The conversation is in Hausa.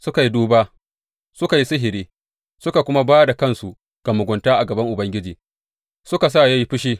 Suka yi duba, suka yi sihiri suka kuma ba da kansu ga mugunta a gaban Ubangiji; suka sa ya yi fushi.